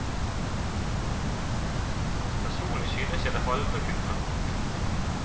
Personlig synes jeg det halve kunne være nok.